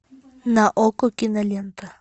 на окко кинолента